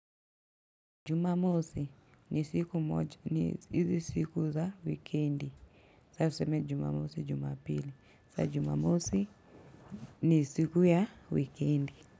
Jumamosi ni siku moja ni izi siku za wikendi. Sa useme jumamosi jumapili. Sa jumamosi ni siku ya wikendi.